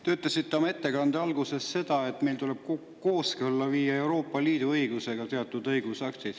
Te ütlesite oma ettekande alguses, et meil tuleb teatud õigusaktid Euroopa Liidu õigusega kooskõlla viia.